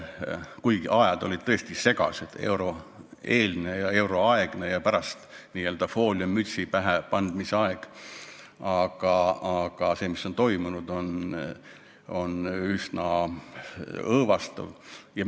Kuigi ajad olid tõesti segased, euroeelsed ja euroaegsed ajad ning pärast n-ö fooliummütsi pähepanemise aeg, aga see, mis on toimunud, on üsna õõvastav.